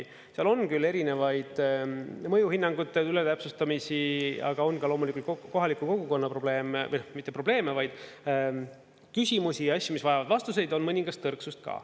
Seal on küll erinevaid mõjuhinnangute üle täpsustamisi, aga on ka loomulikult kohaliku kogukonna probleeme, noh, mitte probleeme, vaid küsimusi ja asju, mis vajavad vastuseid, on mõningast tõrksust ka.